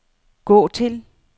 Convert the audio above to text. gå til